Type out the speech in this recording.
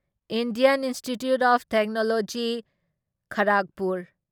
Indian Institute of technology Kharagpur